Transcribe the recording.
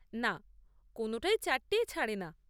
না, কোনটাই চারটেয় ছাড়ে না।